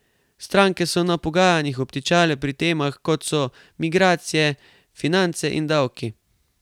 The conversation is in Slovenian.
Stranke so na pogajanjih obtičale pri temah, kot so migracije, finance in davki.